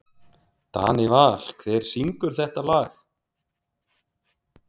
Danival, hver syngur þetta lag?